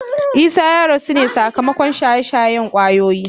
Isah ya rasu ne sakamakon shaye-shayen kwayoyi.